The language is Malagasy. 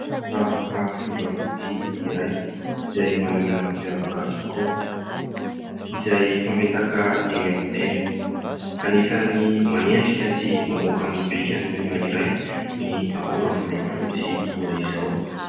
Ravaka volafotsy iray izay manana ny mampiavaka azy tokoa izay fametaka eny amin'ny tenda. Anisan'ny manendrika sy mamoaka ny bikan'olona iray ny akora volafotsy toa izao.